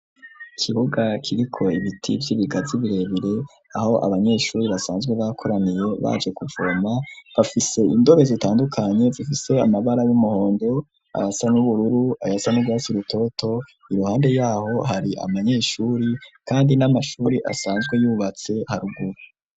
Ikibuga kiriko ibiti vy'ibigazi birebire aho abanyeshuri basanzwe bakoraniye baje kuvoma, bafise indobo zitandukanye bifise amabara y'umuhondo, ayasa n ubururu ayasa n'urwatsi rutoto, iruhande yaho hari abanyeshuri kandi n'amashuri asanzwe yubatse haruguru.